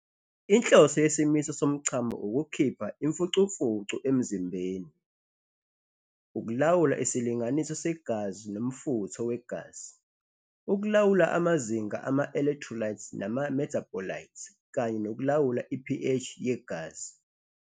Inhloso yesimiso somchamo ukukhipha imfucumfucu emzimbeni, ukulawula isilinganiso segazi nomfutho wegazi, ukulawula amazinga ama-electrolytes nama-metabolites, kanye nokulawula i-pH yegazi.